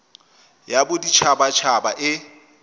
ya bodit habat haba e